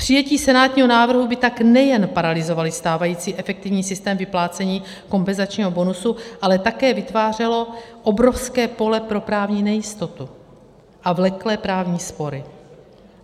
Přijetí senátního návrhu by tak nejen paralyzovalo stávající efektivní systém vyplácení kompenzačního bonusu, ale také vytvářelo obrovské pole pro právní nejistotu a vleklé právní spory.